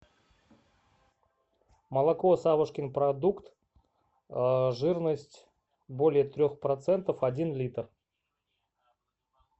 молоко савушкин продукт жирность более трех процентов один литр